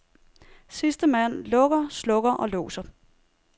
Sidste mand lukker, slukker og låser.